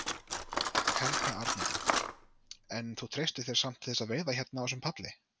Helga Arnardóttir: En þú treystir þér samt til þess að veiða hérna á þessum palli?